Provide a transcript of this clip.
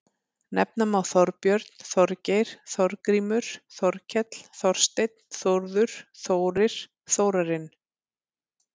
Nefna má Þorbjörn, Þorgeir, Þorgrímur, Þorkell, Þorsteinn, Þórður, Þórir, Þórarinn.